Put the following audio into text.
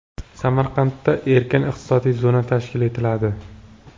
Samarqandda erkin iqtisodiy zona tashkil etiladi.